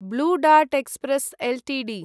blue Dart Express Ltd